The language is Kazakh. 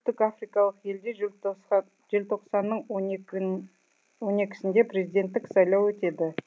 африкалық елде желтоқсанның он екісінде президенттік сайлау өтеді